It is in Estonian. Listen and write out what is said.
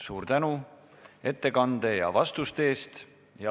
Suur tänu ettekande ja vastuste eest!